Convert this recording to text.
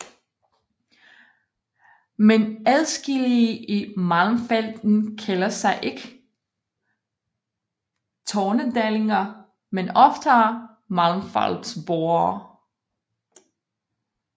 Men adskillige i Malmfälten kalder sig ikke tornedalinger men oftere malmfältsboere